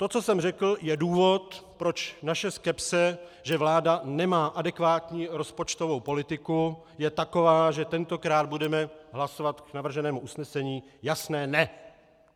To, co jsem řekl, je důvod, proč naše skepse, že vláda nemá adekvátní rozpočtovou politiku, je taková, že tentokrát budeme hlasovat k navrženému usnesení jasné ne!